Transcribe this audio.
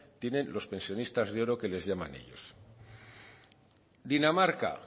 tienen los pensionistas de oro que les llaman ellos dinamarca